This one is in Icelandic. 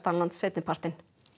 lands seinnipartinn